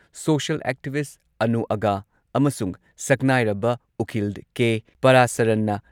social activist Anu Aga ꯑꯃꯁꯨꯡ ꯁꯛꯅꯥꯏꯔꯕ ꯎꯀꯤꯜ ꯀꯦ.ꯄꯥꯔꯥꯁꯔꯟꯅ